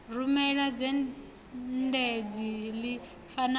rumele dzhendedzi ḽi fanaho na